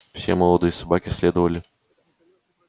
все молодые собаки следовали